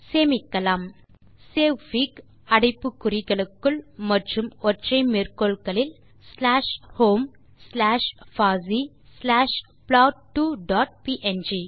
சேமிக்கலாம் சேவ்ஃபிக் அடைப்பு குறிகளுக்குள் மற்றும் ஒற்றை மேற்கோள்களில் ஸ்லாஷ் ஹோம் ஸ்லாஷ் பாசி ஸ்லாஷ் ப்ளாட்2 டாட் ப்ங்